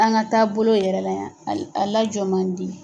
An ka taabolo yɛrɛ la yan a a lajɔ man di.